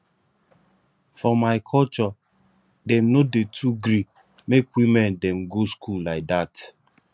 for my culture dem no dey too gree make women dem go school lai dat